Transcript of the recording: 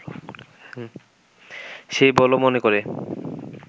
সে বল মনে করে